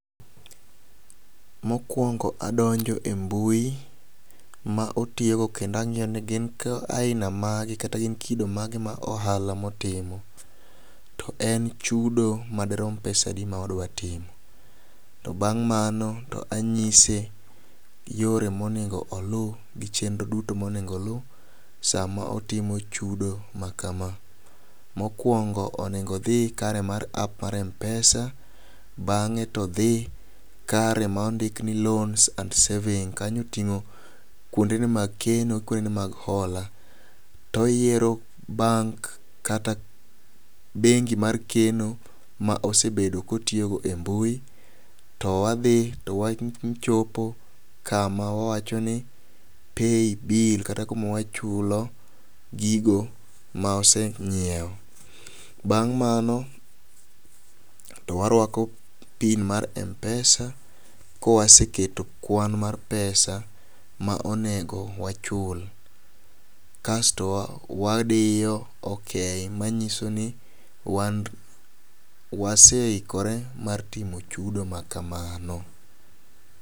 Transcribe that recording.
Mokwongo adonjo e mbui ,ma otiyigo kendo ang'iyo ni gin ka aina mage kata gin kido mage ma ohala motimo to en chudo madirom pesa di ma wadwa timo. To bang' mano to anyise yore monego oluw gi chenro duto monego oluw sama otimo chudo ma kama. Mokwongo onego odhi kare mar app mar mpesa bang'e to dhi kare mondik ni loans and savings kanyo oting'o kuonde ne bang keno kuonde ne hola. Oyiero bank kata bengi mar keno ma osebedo kotiyo go e mbui ,to wadhi to wachopo kama wacho ni pay bill kata kuma wachulo gigo ma waseng'iewo. Bang' mano , warwako pin mar mpesa ,kawaseketo kwan mar pesa ma onego wachul . Kasto wa wadiyo okay manyiso ni wan waseikore mar timo chudo ma kamano.